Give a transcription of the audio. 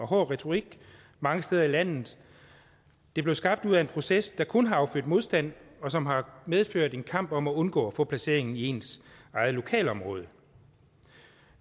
hård retorik mange steder i landet det blev skabt ud af en proces der kun har affødt modstand og som har medført en kamp om at undgå at få placeringen i ens eget lokalområde